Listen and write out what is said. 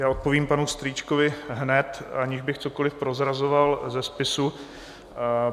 Já odpovím panu Strýčkovi hned, aniž bych cokoli prozrazoval ze spisu.